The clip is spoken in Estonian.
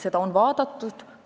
Seda on vaadatud.